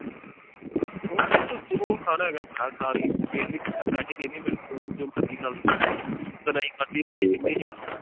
ਜੋ ਖਾਣਾ ਹੋਏਗਾ ਪਰਾ ਖਾ ਲਈ ਪੈਸੇ ਦੇਣੇ ਮੈਂ ਤੂੰ ਜੋ ਮਰਜ਼ੀ ਖਾ ਲਈ ਠੀਕ ਆ।